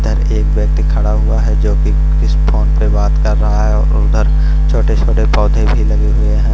इधर एक व्यक्ति खड़ा हुआ है जोकि इस फ़ोन पे बात कर रहा है और उधर छोटे-छोटे पौधे भी लगे हुए है।